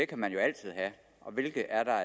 kan man jo altid have og hvilke er der